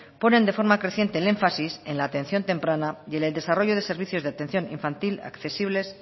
ponen de forma creciente el énfasis en la atención temprana y en el desarrollo de servicios de atención infantil accesibles